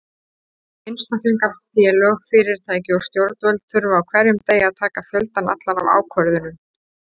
Einstaklingar, félög, fyrirtæki og stjórnvöld þurfa á hverjum degi að taka fjöldann allan af ákvörðunum.